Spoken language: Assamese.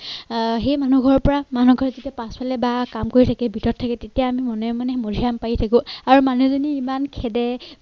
অঃ সেই মানুহ ঘৰৰ পৰা মানুহগৰাকী পাছফালে বা কাম কৰি থাকে ভিতৰত থাকে তেতিয়া আমি মনে মনে মাধুৰী আম পাৰি থাকো আৰু মানুহজনী ইমান খেদে।